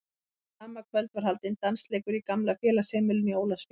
Þetta sama kvöld var haldinn dansleikur í gamla félagsheimilinu í Ólafsvík.